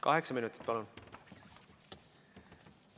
Kaheksa minutit, palun!